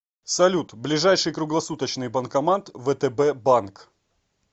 салют ближайший круглосуточный банкомат втб банк